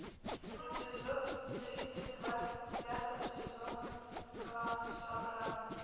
эпизод тридцать два пятого сезона клан сопрано